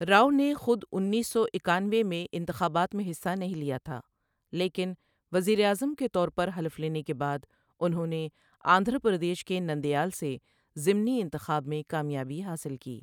راؤ نے خود انیس سو اکانوے میں انتخابات میں حصہ نہیں لیا تھا، لیکن وزیر اعظم کے طور پر حلف لینے کے بعد، انہوں نے آندھرا پردیش کے نندیال سے ضمنی انتخاب میں کامیابی حاصل کی